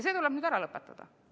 See tuleb nüüd ära lõpetada.